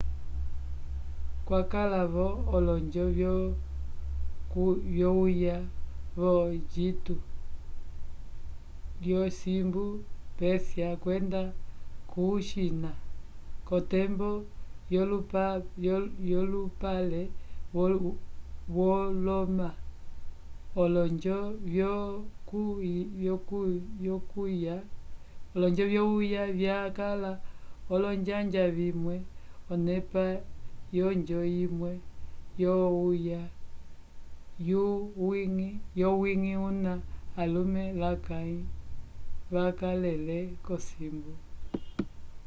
kwakala-vo olonjo vyokuywa vo-engito lyosimbu pérsia kwenda ko-china k'otembo yolupale woloma olonjo vyokuywa vyakala olonjanja vimwe onepa yonjo imwe yokuywa yowiñgi kuna alume lakãyi vakalele kumosi